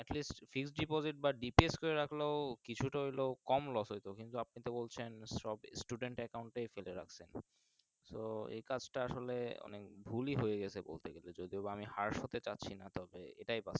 At least Fixed deposit বা deposit করে রাখলেও কিছুটা হয় তো কম Los হয়তো কিন্তু আপনি তো বলছেন সব Student account এই ফেলে রাখছেন তো এই কাজ টা আসলে মানে ভুলই হয়ে গাছে বলতে গালে যদি বা আমি হাসতে পারছিনা। তবে।